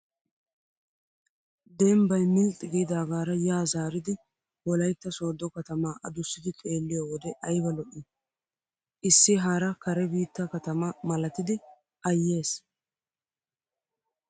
Dembbayi milxxi giidaagaara yaa zaaridi wolayitta sooddo katamaa adussidi xeelliyoo wode ayiba lo''ii. Issi haara karee biittaa katama malatdi ayyes.